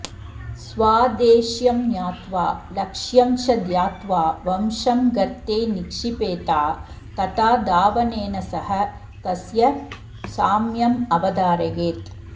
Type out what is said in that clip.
स्वाद्देश्यं ज्ञात्वा लक्ष्यं च ध्यात्वा वंशं गर्ते निक्षिपेता तथा धावनेन सह तस्य साम्यमवधारयेत्